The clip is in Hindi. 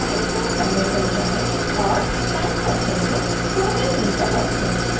time track panel पर जाएं और time cursor को 100वें फ्रेम पर रखें